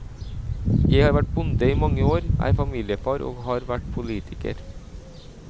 Jeg har vært bonde i mange år, er familiefar og har vært politiker.